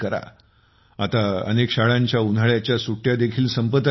आता अनेक शाळांच्या उन्हाळ्याच्या सुट्ट्या देखील संपत आल्या असतील